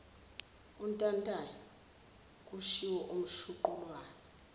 untantayo kushiwo umshuqulwana